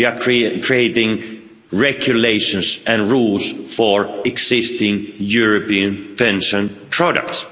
We are creating regulations and rules for existing European pension products.